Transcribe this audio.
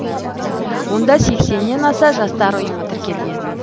онда сексеннен аса жастар ұйымы тіркелген